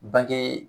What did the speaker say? Bange